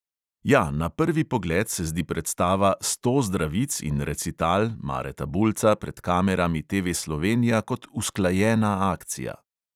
Ja, na prvi pogled se zdi predstava "sto zdravic in recital" mareta bulca pred kamerami TV slovenija kot usklajena akcija.